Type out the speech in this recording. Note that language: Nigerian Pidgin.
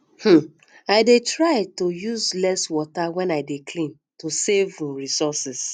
um i um dey try to use less water when i dey clean to save um resources